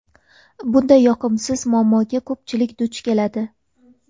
Bunday yoqimsiz muammoga ko‘pchilik duch keladi.